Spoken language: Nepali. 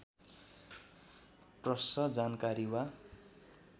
प्रश्न जानकारी वा